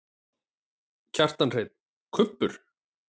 Kjartan Hreinn: Kubbur?